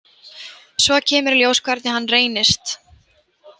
Svo kemur í ljós hvernig hann reynist.